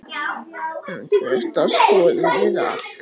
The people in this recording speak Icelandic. En þetta skoðum við allt.